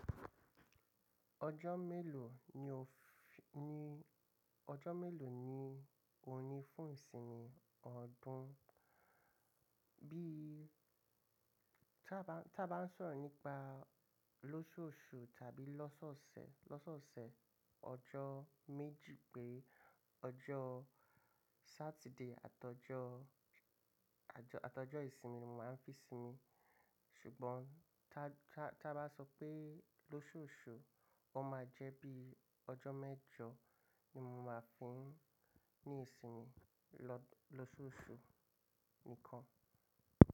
Ọjọ́ mélòó ni o fi, ní ọjọ́ mélòó ni o ní fún ìsinmi ọdún? Bí tá bá, tá bá ń sọ̀rọ̀ nípa lóṣooṣù tàbí lọ́sọ̀ọsẹ̀, lọ́sọ̀ọsẹ̀ ọjọ́ méjì pére ọjọ́ Saturday àtọjọ́, àtọjọ́ ìsinmi ni mo máa ń fi sinmi. Ṣùgbọ́n tá bá, tá bá sọ pé lóṣooṣù, ó máa jẹ́ bí ọjọ́ mẹ́jọ ni mo máa fi í ní ìsinmi lọ, lóṣooṣù nìkan.